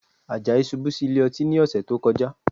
Àjàyí ṣubú sí ilé ọtí ní ọ̀sẹ̀ tó kọjá